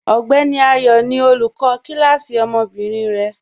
Ọgbẹni Ayọ ni olúkọ̀ kilasí ọmọ́bìnrin rẹ.